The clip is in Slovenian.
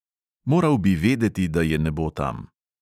Moral bi vedeti, da je ne bo tam.